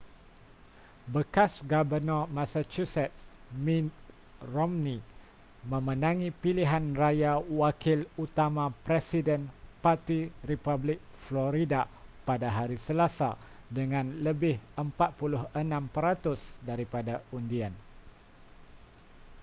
bekas gabenor massachusetts mitt romney memenangi pilihan raya wakil utama presiden parti republik florida pada hari selasa dengan lebih 46 peratus daripada undian